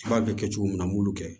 B'a bɛ kɛ cogo min na an b'olu kɛ